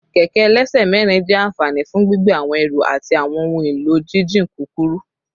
Kẹkẹ ẹlẹsẹ mẹrin jẹ anfani fun gbigbe awọn ẹru ati awọn ohun elo jijin kukuru